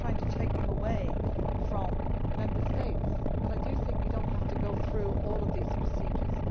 I am not trying to take them away from Member States but I think we do not have to go through all of these procedures.